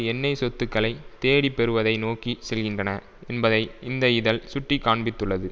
எண்ணெய் சொத்துக்களை தேடி பெறுவதை நோக்கி செல்கின்றன என்பதை இந்த இதழ் சுட்டி காண்பித்துள்ளது